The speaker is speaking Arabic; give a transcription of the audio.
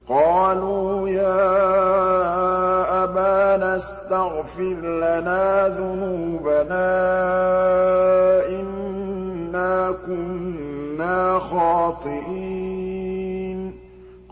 قَالُوا يَا أَبَانَا اسْتَغْفِرْ لَنَا ذُنُوبَنَا إِنَّا كُنَّا خَاطِئِينَ